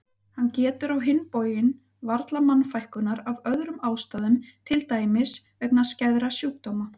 Hann getur á hinn bóginn varla mannfækkunar af öðrum ástæðum til dæmis vegna skæðra sjúkdóma.